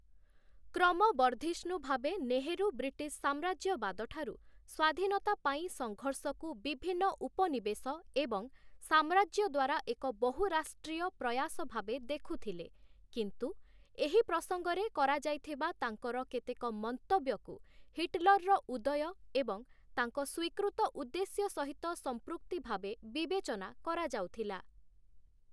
କ୍ରମବର୍ଦ୍ଧିଷ୍ଣୁ ଭାବେ ନେହେରୁ ବ୍ରିଟିଶ୍ ସାମ୍ରାଜ୍ୟବାଦଠାରୁ ସ୍ୱାଧୀନତା ପାଇଁ ସଂଘର୍ଷକୁ ବିଭିନ୍ନ ଉପନିବେଶ ଏବଂ ସାମ୍ରାଜ୍ୟ ଦ୍ୱାରା ଏକ ବହୁରାଷ୍ଟ୍ରୀୟ ପ୍ରୟାସ ଭାବେ ଦେଖୁଥିଲେ କିନ୍ତୁ ଏହି ପ୍ରସଙ୍ଗରେ କରାଯାଇଥିବା ତାଙ୍କର କେତେକ ମନ୍ତବ୍ୟକୁ ହିଟଲରର ଉଦୟ ଏବଂ ତାଙ୍କ ସ୍ୱୀକୃତ ଉଦ୍ଦେଶ୍ୟ ସହିତ ସଂପୃକ୍ତି ଭାବେ ବିବେଚନା କରାଯାଉଥିଲା ।